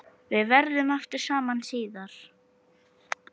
Við verðum aftur saman síðar.